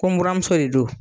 Ko buramuso de don.